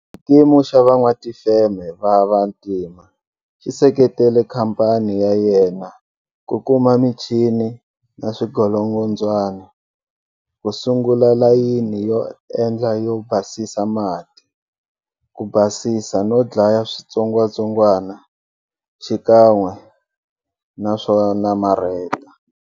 Xikimu xa Van'watifeme va vantima xi seketele khamphani ya yena ku kuma michini na swingolongondzwani ku sungula layini yo endla yo basisa mati, ku basisa no dlaya switsongwatsongwana xikan'we na swo namarheta.